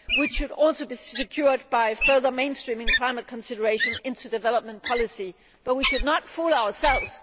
This could also be secured by further mainstreaming climate considerations into development policy, but we should not fool ourselves.